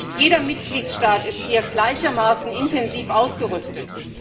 Nicht jeder Mitgliedstaat ist hier gleichermaßen intensiv ausgerüstet.